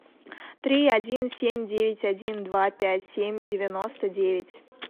три один семь девять один два пять семь девяносто девять